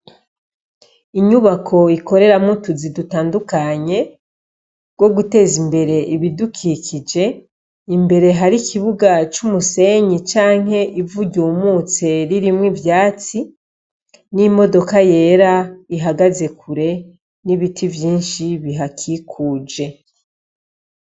Inyubako ikoreramwo utuzi dutandukanye two guteza imbere ibidukikije . Imbere hari ikibuga c'umusenyi canke ivu ryumutse ririmwo ivyatsi n'imodoka yera ihagaze kure, n'ibiti vyinshi bihakikuje.